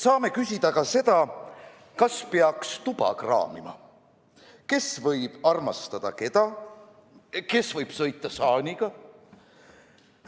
Saame küsida ka seda, kas peaks tuba kraamima, kes võib armastada keda, kes võib sõita saaniga.